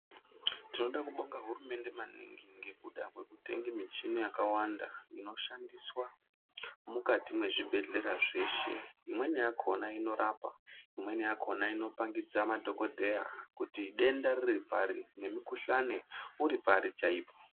Tinoda kubonga hurumende maningi ngekuda kwekutenga michini yakawanda inoshandiswa mukati mwezvibhehlera zveshe. Imweni yakona inorapa, imweni yakona inopangidza madhokodheya kuti denda riri pari nemikhuhlane uri pari chaipo.